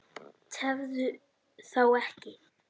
Tefðu þá ekki.